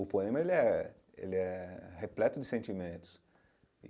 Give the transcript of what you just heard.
O poema, ele é ele é repleto de sentimentos.